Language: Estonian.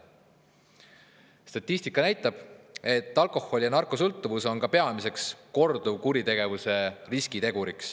Statistika näitab, et alkoholi- ja narkosõltuvus on peamine korduvkuritegevuse riskitegur.